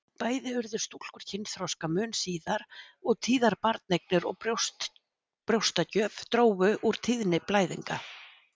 Bæði urðu stúlkur kynþroska mun síðar og tíðar barneignir og brjóstagjöf drógu úr tíðni blæðinga.